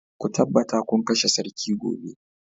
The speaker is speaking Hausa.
Ku tabbata kun kashe sarki gobe